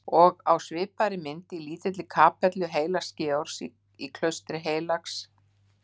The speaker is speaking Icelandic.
Og á svipaðri mynd í lítilli kapellu heilags Georgs í klaustri heilags